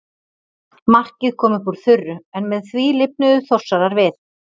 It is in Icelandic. Markið kom upp úr þurru en með því lifnuðu Þórsarar við.